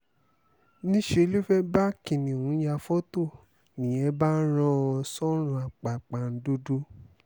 níṣe ló fẹ́ẹ́ bá kìnnìún ya fọ́tò nìyẹn bá rán an sọ́rùn àpàpàǹdodo